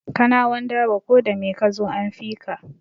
Kanawan dabo ko da mai kazo an fika